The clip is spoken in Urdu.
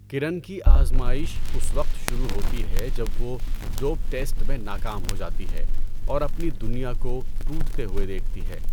کرن کی آزمائش اس وقت شروع ہوتی ہے جب وہ ڈوپ ٹیسٹ میں ناکام ہو جاتی ہے اور اپنی دنیا کو ٹوٹتے ہوئے دیکھتی ہے۔